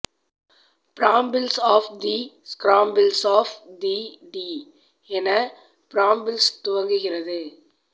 brambles of the scrabbles of the tea என brambles துவங்குகிறது